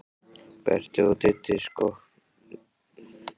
Berti og Diddi sokknir ofan í skák úti í horni.